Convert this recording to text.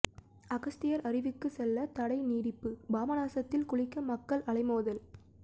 அகஸ்தியர் அருவிக்கு செல்ல தடை நீடிப்பு பாபநாசத்தில் குளிக்க மக்கள் அலைமோதல்